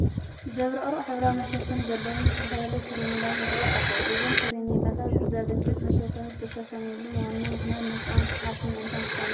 ዘብረቕርቕ ሕብራዊ መሸፈኒ ዘለዎም ዝተፈላለዩ ከረሜላታት ይርአዩ ኣለዉ፡፡ እዞም ከረሜላታት ብዘብለጭልጭ መሸፈኒ ዝተሽፈኑሉ ዋና ምኽንያት ንህፃውንቲ ሰሓብቲ ምእንታን ክኾኑ እዩ፡፡